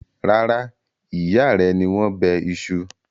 Rárá, ìyá rẹ ni wọ́n bẹ iṣu.